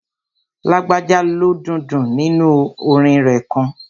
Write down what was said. Lágbájá lo dundun nínu orin rẹ̀ kan